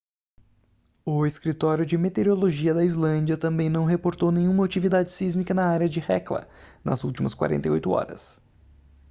o escritório de meteorologia da islândia também não reportou nenhuma atividade sísmica na área de hekla nas últimas 48 horas